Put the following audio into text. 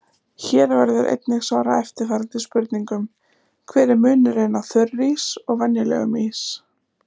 Hér verður einnig svarað eftirfarandi spurningum: Hver er munurinn á þurrís og venjulegum ís?